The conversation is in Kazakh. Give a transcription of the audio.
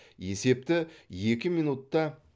есепті екі минутта